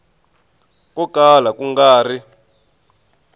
ko kala ku nga ri